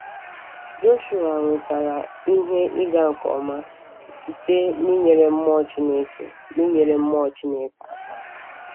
Joshuwa nwetara ihe ịga nke ọma site n’inyere mmụọ Chineke n’inyere mmụọ Chineke aka.